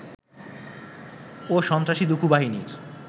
ও সন্ত্রাসী দুখু বাহিনীর